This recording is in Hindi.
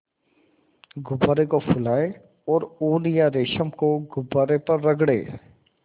गुब्बारे को फुलाएँ और ऊन या रेशम को गुब्बारे पर रगड़ें